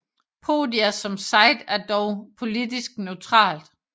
Podia som site er dog politisk neutralt